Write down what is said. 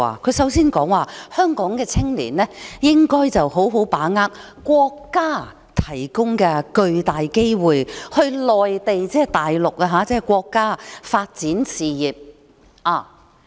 她首先說，香港的青年應該好好把握國家提供的巨大機會，到內地發展事業。